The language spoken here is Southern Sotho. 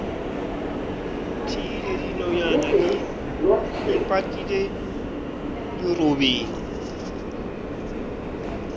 bothile dinonyana di ipatile dirobeng